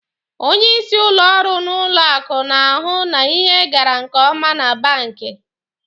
Onyeisi ụlọ ọrụ n'ụlọ akụ na-ahụ na ihe gara nke ọma na banki.